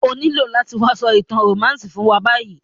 O nílo láti wa so ìtàn romantic fún wa bayi